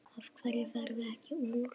Af hverju ferðu ekki úr?